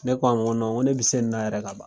Ne k'a ma ko nɔn ko ne bi se ni na yɛrɛla ka ban